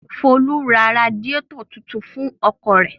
Folú ra radiátọ̀ tuntun fún ọkọ̀ rẹ̀?